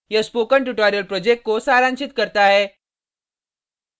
यह spoken tutorial project को सारांशित करता है